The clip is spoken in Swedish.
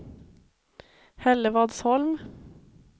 Hällevadsholm